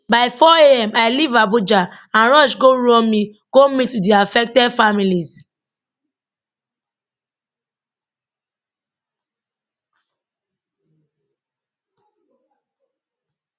by 4 am i leave abuja and rush go uromi to meet wit di affected families